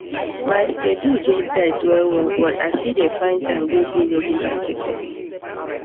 my schedule dey tight wellwell but i still dey find time go do regular checkup